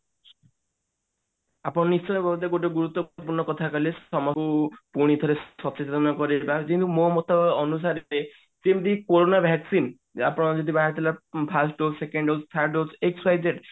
ଆପଣ ନିଶ୍ଚୟ ଗୋଟେ ଗୁରୁତ୍ଵପୂର୍ଣ କଥା କହିଲେ ପୁଣି ଥରେ ସଚେତନ କରେଇବା କିନ୍ତୁ ମୋ ମତ ଅନୁସାରେ ଯେମିତି କୋରୋନା vaccine ଯେମିତି ବାହାରି ଥିଲା first dose second dose third dose XYZ